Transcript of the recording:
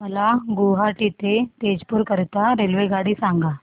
मला गुवाहाटी ते तेजपुर करीता रेल्वेगाडी सांगा